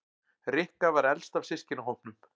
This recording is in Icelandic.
Rikka var elst af systkinahópnum.